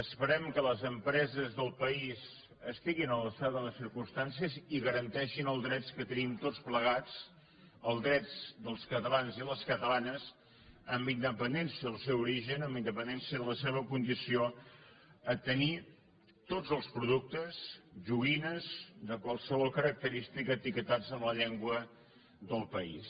esperem que les empreses del país estiguin a l’alçada de les circumstàncies i garanteixin els drets que tenim tots plegats els drets dels catalans i les catalanes amb independència del seu origen amb independència de la seva condició a tenir tots els productes joguines de qualsevol característica etiquetats en la llengua del país